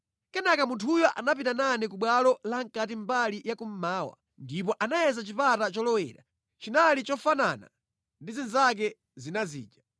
Kenaka munthuyo anapita nane ku bwalo la mʼkati mbali ya kummawa, ndipo anayeza chipata cholowera; chinali chofanana ndi zinzake zina zija.